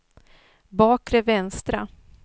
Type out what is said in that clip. bakre vänstra